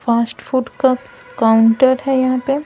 fast food का counter है यहाँ पे --